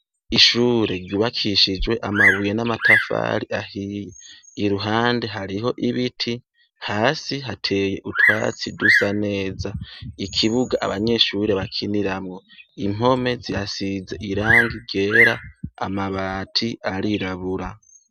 Ishure ryubakishijwe amabuye n'amatafari ahiye iruhande hariho ibiti hasi hateye utwatsi dusa neza ikibuga abanyeshure bakiniramwo impwome ziasize irangi gera amabati arirabura.